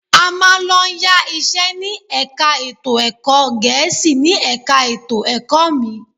A máa ń lọ yá iṣẹ́ ní ẹ̀ka ètò ẹ̀kọ́ Gẹ̀ẹ́sì ni ẹ̀ka ètò ẹ̀kọ́ mi